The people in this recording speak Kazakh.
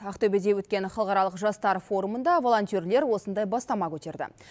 ақтөбеде өткен халықаралық жастар форумында волонтерлер осындай бастама көтерді